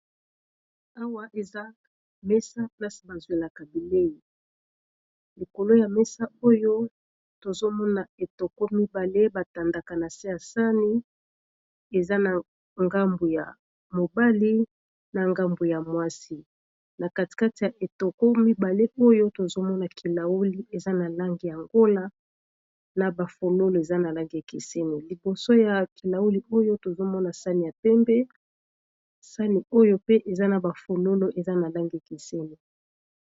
awa eza mesa plasi bazwilaka bilei likolo ya mesa oyo tozomona etoko mibale batandaka na se ya sani eza na ngambu ya mobali na ngambu ya mwasi na katikate ya etoko mibale oyo tozomona kilauli eza na lange ya ngola na bafonolo eza na langi ekeseni liboso ya kilauli oyo tozomona sani ya tembe sani oyo pe eza na bafonolo eza na lange ekeseni